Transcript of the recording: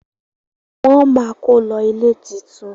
wón má kò lo ilé títún.